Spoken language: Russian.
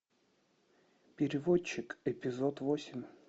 переводчик эпизод восемь